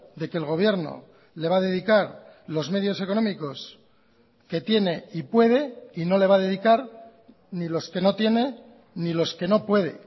de que el gobierno le va a dedicar los medios económicos que tiene y puede y no le va a dedicar ni los que no tiene ni los que no puede